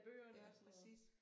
Ja præcis